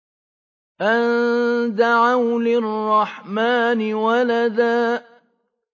أَن دَعَوْا لِلرَّحْمَٰنِ وَلَدًا